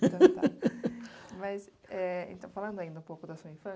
Mas, é, falando ainda um pouco da sua